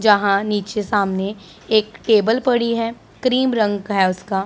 जहां नीचे सामने एक टेबल पड़ी है क्रीम रंग का है उसका--